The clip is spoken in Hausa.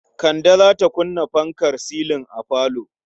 Kande za ta kunna fankar silin a falo.